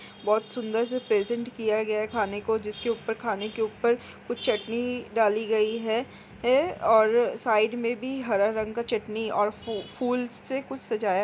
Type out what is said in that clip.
बहुत सुन्दर से प्रेजेंट किया गया खाने को जिसके उपर खाने के उपर कुछ चटनी डाली गई है और साइड मे भी हरा रंग का चटनी और फूल से कुछ सजाया --